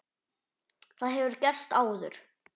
Það hefur gerst áður.